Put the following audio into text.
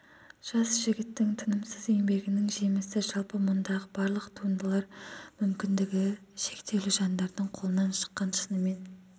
жас жігіттің тынымсыз еңбегінің жемісі жалпы мұндағы барлық туындылар мүмкіндігі шектеулі жандардың қолынан шыққан шынымен